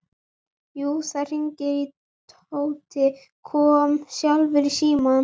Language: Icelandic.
Jú, það hringdi og Tóti kom sjálfur í símann.